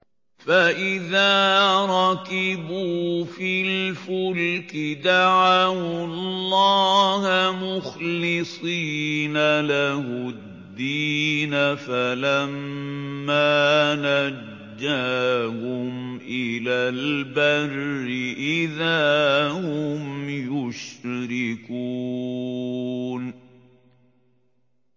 فَإِذَا رَكِبُوا فِي الْفُلْكِ دَعَوُا اللَّهَ مُخْلِصِينَ لَهُ الدِّينَ فَلَمَّا نَجَّاهُمْ إِلَى الْبَرِّ إِذَا هُمْ يُشْرِكُونَ